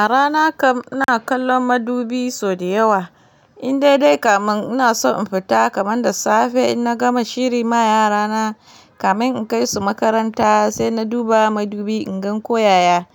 A rana kam ina kallon madubi sau da yawa. In dai dai kamar ina so in fita kamar da safe, in na gama shiri ma yarana kamar in kai su makaranta sai na duba madubi in gan ko yaya